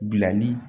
Bilali